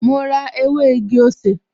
Mo rá ew´ igi-osè